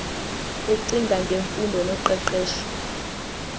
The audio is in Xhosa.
ecinga ngemfundo noqeqesho